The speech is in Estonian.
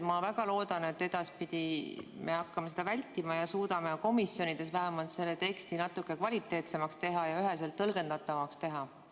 Ma väga loodan, et edaspidi me hakkame seda vältima ja suudame komisjonides vähemalt teksti natuke kvaliteetsemaks ja üheselt tõlgendatavaks teha.